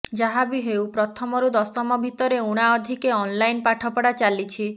ଯାହାବି ହେଉ ପ୍ରଥମରୁ ଦଶମ ଭିତରେ ଊଣା ଅଧିକେ ଅନ୍ଲାଇନ୍ ପାଠପଢା ଚାଲିଛି